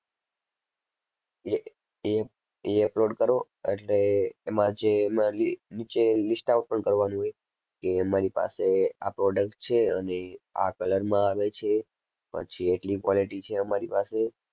એ એ એ upload કરો એટલે એમાં જે એમાં લી~નીચે list out પણ કરવાની હોય કે અમારી પાસે આ product છે અને આ color માં આવે છે. પછી એટલી quality છે અમારી પાસે